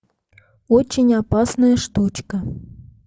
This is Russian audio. очень опасная штучка